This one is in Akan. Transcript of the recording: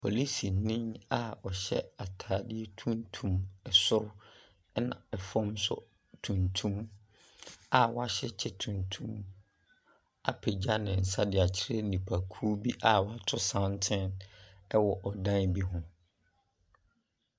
Polisinii a ɔhyɛ ataadeɛ tuntum ɛsoro ɛna ɛfɔm so tuntum a w'ahyɛ kyɛ tuntum apegya ne nsa ɛde akyerɛ nipa kuo bi a wato santene ɛwɔ ɔdan bi ho.